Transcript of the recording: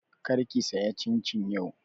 Kar ki saya cincin yau!